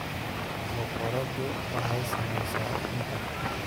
Boqoradu waxay samaysaa ukunta.